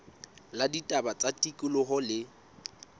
la ditaba tsa tikoloho le